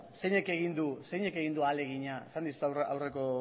zeinek egin du ahalegina esan dizut aurreko